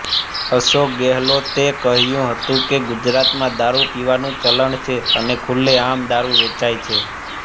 અશોક ગેહલોતે કહ્યું હતું કે ગુજરાતમાં દારૂ પીવાનું ચલણ છે અને ખુલ્લેઆમ દારૂ વેચાય છે